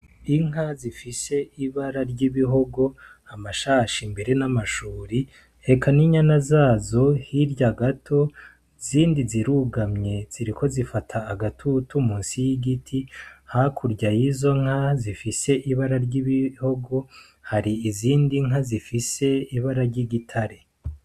Inka zifise ibara ry'ibihogo, amashashi mbere n'amashuri eka n'inyana zazo, hirya gato izindi zirugamye ziriko zifata agatutu musi y'igiti, hakurya yizo nka zifise ibara ry'ibihogo hari izindi nka zifise ibara ry'igitare.